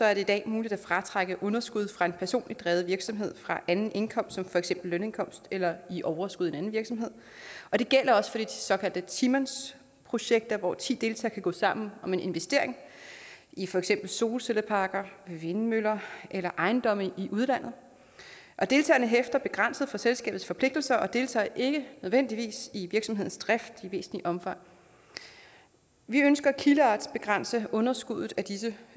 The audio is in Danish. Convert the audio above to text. er det i dag muligt at fratrække underskud fra en personligt drevet virksomhed fra anden indkomst som for eksempel lønindkomst eller overskud i en anden virksomhed og det gælder også for de såkaldte ti mandsprojekter hvor ti deltagere gå sammen om en investering i for eksempel solcelleparker vindmøller eller ejendomme i udlandet og deltagerne hæfter begrænset for selskabets forpligtelser og deltager ikke nødvendigvis i virksomhedens drift i væsentligt omfang vi ønsker at kildeartsbegrænse underskuddet af disse